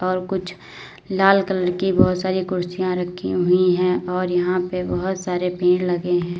और कुछ लाल कलर की बहुत सारी कुर्सियां रखी हुई हैं और यहां पे बहुत सारे पेड़ लगे हैं।